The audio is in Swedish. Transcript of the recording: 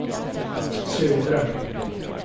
södra